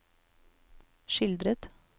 skildret